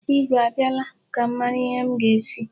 Igwe a bịala? Ka m mara ihe m ga-esi.